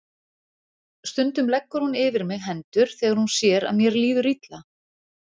Stundum leggur hún yfir mig hendur þegar hún sér að mér líður illa.